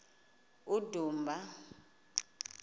udumba